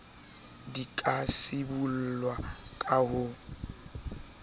di ka sibollwa ka ho